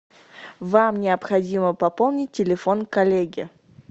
вам необходимо пополнить телефон коллеги